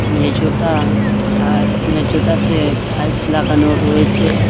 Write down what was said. মেজোটা আ্য মেজোটাতে টাইলস লাগানো রয়েছে।